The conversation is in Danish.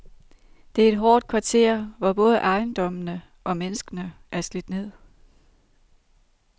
Det er et hårdt kvarter, hvor både ejendommene og menneskene er slidt ned.